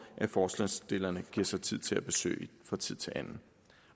forslagsstillerne giver sig tid til at besøge fra tid til anden